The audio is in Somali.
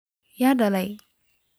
Yaa lahadhlahaya?